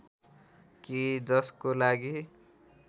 कि जसको लागि